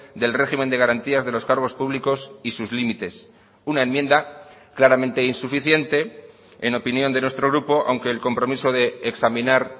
del régimen de garantías de los cargos públicos y sus límites una enmienda claramente insuficiente en opinión de nuestro grupo aunque el compromiso de examinar